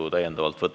Head kolleegid!